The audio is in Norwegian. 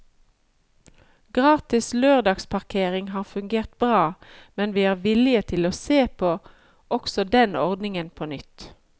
Gratis lørdagsparkering har fungert bra, men vi er villige til å se på også den ordningen på nytt.